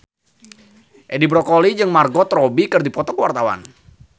Edi Brokoli jeung Margot Robbie keur dipoto ku wartawan